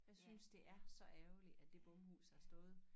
For jeg synes det er så ærgerligt at det bomhus har stået